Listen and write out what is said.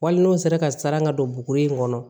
Wali n'o sera ka siran ka don buguri in kɔnɔ